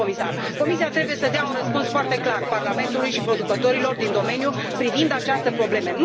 Domnule comisar, Comisia trebuie să dea un răspuns foarte clar Parlamentului și producătorilor din domeniu privind această problemă.